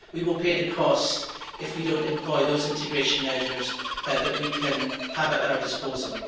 We will pay the cost if we do not employ those integration measures that we can have at our disposal.